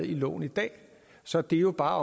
loven i dag så det er jo bare